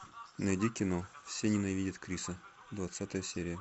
найди кино все ненавидят криса двадцатая серия